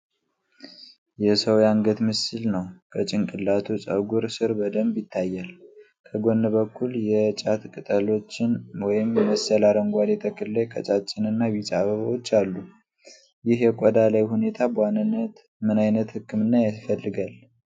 የሰው የአንገት ምስል ነው፣ ከጭንቅላቱ ፀጉር ስር በደምብ ይታያል። ከጎን በኩል የጫት ቅጠሎችን ወይም መሰል አረንጓዴ ተክል ላይ ቀጫጭንና ቢጫ አበባዎች አሉ። ይህ የቆዳ ላይ ሁኔታ በዋናነት ምን አይነት ሕክምና ይፈልጋል?